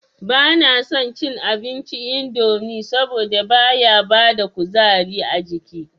Ba na son cin abinci indomi saboda baya bada kuzari ajiki